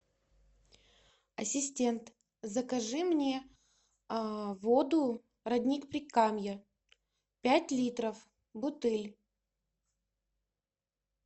ассистент закажи мне воду родник прикамья пять литров бутыль